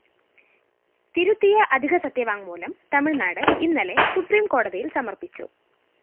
തിരുത്തിയ അധിക സത്യവാങ്മൂലം തമിഴ്‌നാട് ഇന്നലെ സുപ്രീംകോടതിയില്‍ സമര്‍പ്പിച്ചു